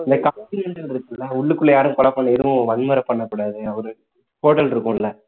இந்த இருக்கும்ல உள்ளுக்குள்ள யாரும் கொலை பண்ண எதுவும் வன்முறை பண்ணக்கூடாது ஒரு hotel இருக்கும்ல